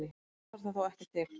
Oft þarf það þó ekki til.